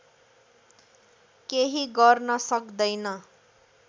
केही गर्न सक्दैन